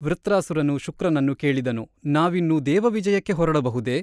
ವೃತ್ರಾಸುರನು ಶುಕ್ರನನ್ನು ಕೇಳಿದನು ನಾವಿನ್ನು ದೇವವಿಜಯಕ್ಕೆ ಹೊರಡಬಹುದೇ ?